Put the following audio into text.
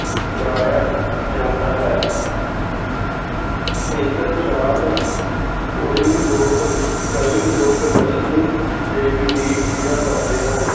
ਬਾਲਿਆ ਜਾਂਦਾ ਹੈ ਇਸ ਰਾਤ ਕੋਈ ਲੋਕ ਕਈ ਲੋਕ ਲਖਸ਼ਮੀ ਦੇਵੀ ਦੀ ਪੂਜਾ ਕਰਦੇ ਹਨ।